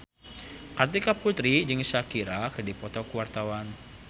Kartika Putri jeung Shakira keur dipoto ku wartawan